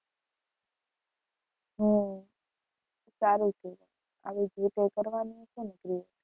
હમ સારું છે આવી જ રીતે કરવાનું હશે ને create.